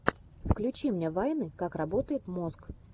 включи мне вайны как работает мозг